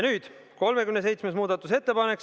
Nüüd tuleb 37. muudatusettepanek.